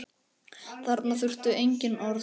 Þarna þurfti engin orð.